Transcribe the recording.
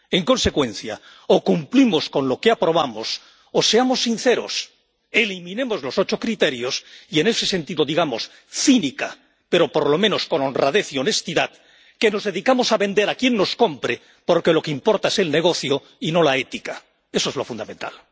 En consecuencia, o cumplimos con lo que aprobamos o seamos sinceros eliminemos los ocho criterios y, en ese sentido, digamos, cínicamente, pero por lo menos con honradez y honestidad, que nos dedicamos a vender a quien nos compre porque lo que importa es el negocio y no la ética. Eso es lo fundamental.